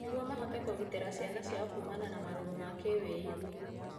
Nĩguo mahote kũgitĩra ciana ciao kũmana na marũrũ ma kĩwĩigwi.